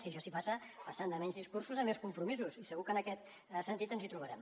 i a això s’hi passa passant de menys discursos a més compromisos i segur que en aquest sentit ens hi trobarem